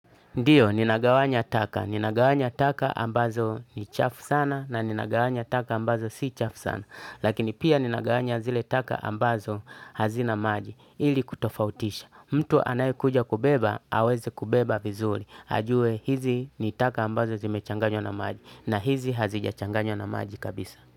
Ndio ninagawanya taka ninagawanya taka ambazo ni chafu sana na ninagawanya taka ambazo si chafu sana lakini pia ninagawanya zile taka ambazo hazina maji ili kutofautisha. Mtu anayekuja kubeba, aweze kubeba vizuri. Ajue hizi ni taka ambazo zimechanganywa na maji na hizi hazijachanganywa na maji kabisa.